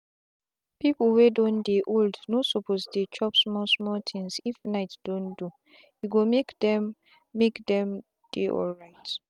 people wey don dey old no suppose dey chop small small things if night don doe go make them make them dey alright.